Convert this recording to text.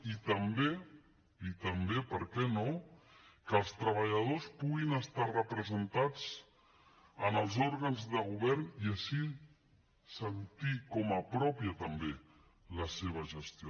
i també i també per què no que els treballadors puguin estar representats en els òrgans de govern i així sentir com a pròpia també la seva gestió